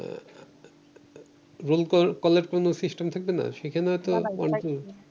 rule কল কলের কোন system থাকবে না, সেখানে তো